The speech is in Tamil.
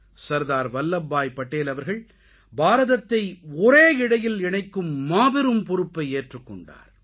சர்தார் வல்லப் பாய் படேல் அவர்கள் பாரதத்தை ஒரே இழையில் இணைக்கும் மாபெரும் பொறுப்பை ஏற்றுக்கொண்டார்